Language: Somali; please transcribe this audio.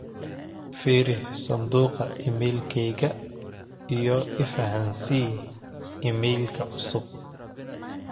firi sanduqa iimaylkeyga iyo ifahansii iimaylka cusub